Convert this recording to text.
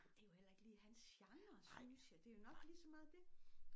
Det jo heller ikke lige hans genre synes jeg det jo nok ligeså meget det